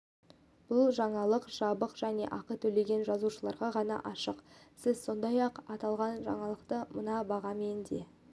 бұл жаңалық жабық және ақы төлеген жазылушыларға ғана ашық сіз сондай-ақ аталған жаңалықты мына бағамен де